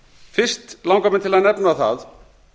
fyrst langar mig til að nefna það